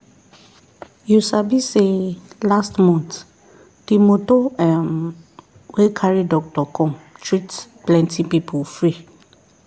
you sabi say last month the moto um wey carry doctor come treat plenty people free.